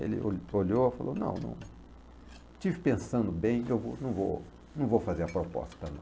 Ele o olhou e falou, não, não estive pensando bem, eu vou, não vou não vou fazer a proposta não.